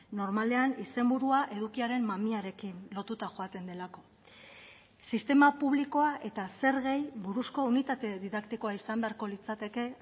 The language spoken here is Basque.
normalean izenburua edukiaren mamiarekin lotuta joaten delako sistema publikoa eta zergei buruzko unitate didaktikoa izan beharko litzateke